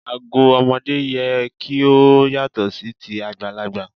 Ago ọmọdé yẹ kí ó yàtọ̀ sí ti àgbàlagbà.